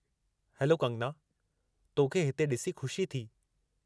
Hello Kangana, तोखे हिते ॾिसी ख़ुशी थी।